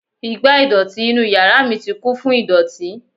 igbá ìdọ̀tí inú yàrá mi ti kún fún ìdọ̀tí